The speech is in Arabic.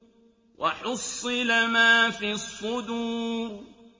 وَحُصِّلَ مَا فِي الصُّدُورِ